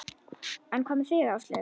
En hvað með þig Áslaug?